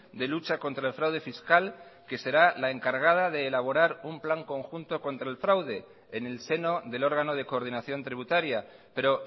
de lucha contra el fraude fiscal que será la encargada de elaborar un plan conjunto contra el fraude en el seno del órgano de coordinación tributaria pero